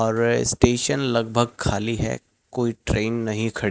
और स्टेशन लगभग खाली है। कोई ट्रेन नहीं खड़ी--